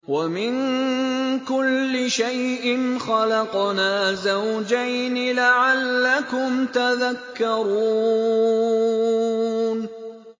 وَمِن كُلِّ شَيْءٍ خَلَقْنَا زَوْجَيْنِ لَعَلَّكُمْ تَذَكَّرُونَ